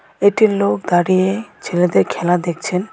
এটি লোক দাঁড়িয়ে ছেলেদের খেলা দেখছেন